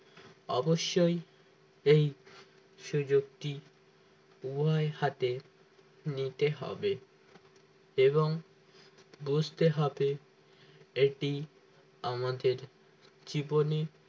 অবশ্যই এই সুযোগটি উভয়ের হাতে নিতে হবে এবং বুঝতে হবে এটি আমাদের জীবনে